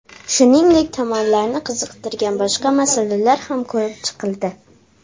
Shuningdek, tomonlarni qiziqtirgan boshqa masalalar ham ko‘rib chiqildi.